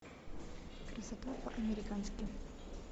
красота по американски